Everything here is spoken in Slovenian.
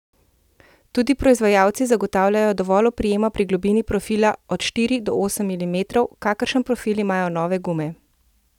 Tudi proizvajalci zagotavljajo dovolj oprijema pri globini profila od štiri do osem milimetrov, kakršen profil imajo nove gume.